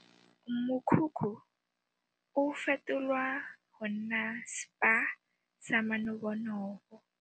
Mokhukhu o fetolwa go nna spa sa manobonobo.